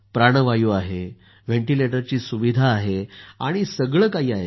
प्राणवायु आहे व्हेंटीलेटरची सुविधाही आहे आणि सर्व काही आहे